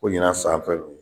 Ko ɲinan san fɛ